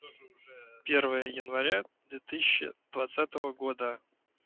первое января две тысячи двадцатого года